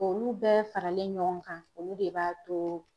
Olu bɛɛ faralen ɲɔgɔn kan olu de b'a to